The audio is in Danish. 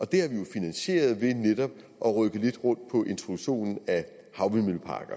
det har vi jo finansieret ved netop at rykke lidt rundt på introduktionen af havvindmølleparker